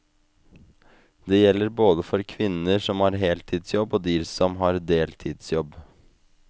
Det gjelder gjelder både for kvinner som har heltidsjobb og de som har deltidsjobb.